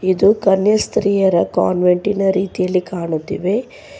ಇದು ಕನ್ಯಾ ಸ್ತ್ರೀಯರ ಕಾನ್ವೆಂಟಿನ ರೀತಿಯಲ್ಲಿ ಕಾಣುತ್ತಿವೆ.